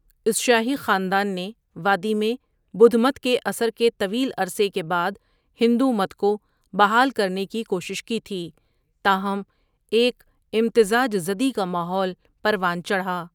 اس شاہی خاندان نے وادی میں بدھ مت کے اثر کے طویل عرصے کے بعد ہندو مت کو بحال کرنے کی کوشش کی تھی، تاہم، ایک امتزاج زدی کا ماحول پروان چڑھا۔